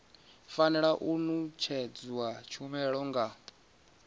fanela u ṅetshedzwa tshumelo nga